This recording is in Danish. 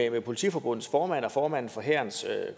at politiforbundets formand og formanden for hærens